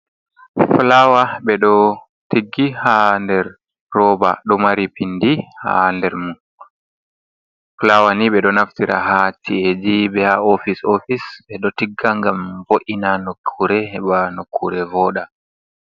Fulawa ɓe ɗo tiggi ha nɗer roba. Ɗo mari pinɗi ha nɗer mum. Fulawa ni be ɗo naftira ha ci’eji be ha ofis ofis. Ɓe ɗo tigga ngam vo’ina nokkure, heba nokkure vooɗa.